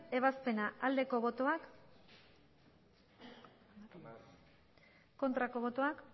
ebazpena aldeko botoak aurkako botoak